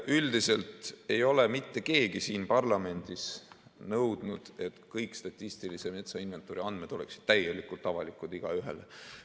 Üldiselt ei ole mitte keegi siin parlamendis nõudnud, et kõik statistilise metsainventuuri andmed oleksid täielikult avalikud igaühele.